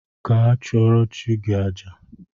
Gaa chụrụo chi gi àjà